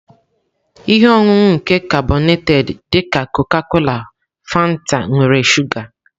Ihe ọṅụṅụ nke karbonated dị ka Coca-cola Fanta nwere shuga.